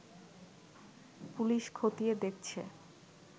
police খতিয়ে দেখছে